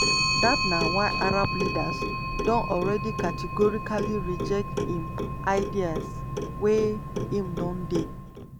dat na why arab leaders don already categorically reject im ideas wey im don dey